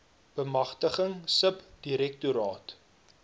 bemagtiging sub direktoraat